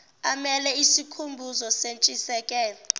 amele isikhumbuzo sentshisekelo